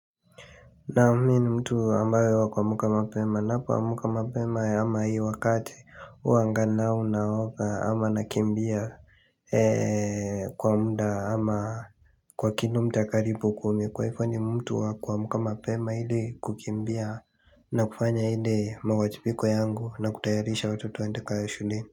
Naam mimi ni mtu ambaye ni wa kuamka mapema ninapoamka mapema ama hii wakati huwanaoga ama ama nakimbia kwa muda ama Kwa kilomita karibu kumi kwa hivyo ni mtu wa kuamka mapema ili kukimbia na kufanya ili mawajibiko yangu na kutayarisha watoto waende shulini.